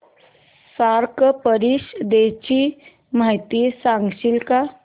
SAARC परिषदेची माहिती सांगशील का